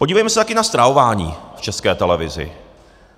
Podívejme se taky na stravování v České televizi.